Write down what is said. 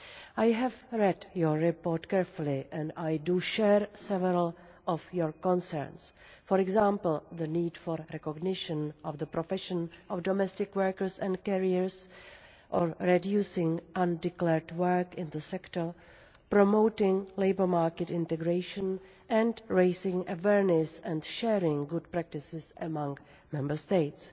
I have read the report carefully and I share several concerns for example, the need for recognition of the profession of domestic workers and carers, reducing undeclared work in the sector, promoting labour market integration and raising awareness and sharing good practices among Member States.